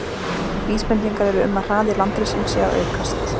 Vísbendingar eru um að hraði landrissins sé að aukast.